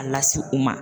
A lasi u ma